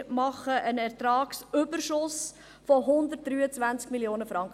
Wir erzielen einen Ertragsüberschuss von 123,2 Mio. Franken.